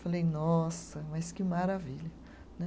Falei, nossa, mas que maravilha né.